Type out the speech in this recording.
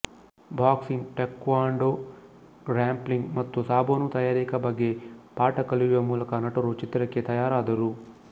boxing taekwondo grappling ಮತ್ತು ಸಾಬೂನು ತಯಾರಿಕೆ ಬಗ್ಗೆ ಪಾಠ ಕಲಿಯುವ ಮೂಲಕ ನಟರು ಚಿತ್ರಕ್ಕೆ ತಯಾರಾದರು